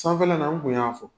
Sanfɛla in na n kun y'a fɔ.